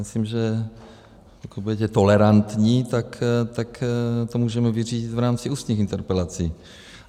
Myslím, že pokud budete tolerantní, tak to můžeme vyřídit v rámci ústních interpelací.